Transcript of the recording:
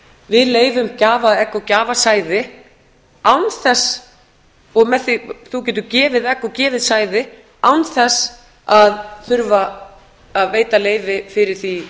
við leyfum gjafaegg og gjafasæði án þess og þú getur gefið egg og gefið sæði án þess að þurfa að veita leyfi fyrir því